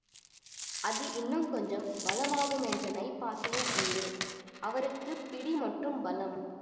அது இன்னும் கொஞ்சம் பலமாகுமென்ற நைப்பாசையும் உண்டு அவருக்கு பிடி மட்டும் பலம்